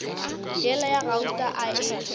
yela ya gauta a e